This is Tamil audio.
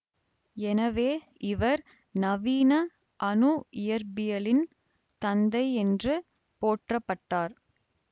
எனவே இவர் நவீன அணு இயற்பியலின் தந்தை என்று போற்றப்பட்டார்